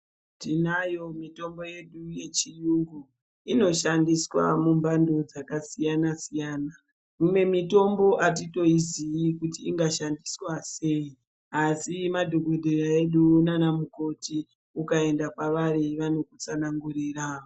Tinayo mitombo yedu yechiyungu inoshandiswa mumbando dzakasiyana siyana imwe mitombo atitoiziyi kuti inga shandiswa sei asi madhokodhera edu nanamukoti ukaenda pavari vanokutsanangurira.